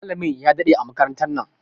Malamin ya ɗade a makarantan nan.